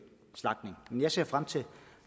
slagtning men jeg ser frem til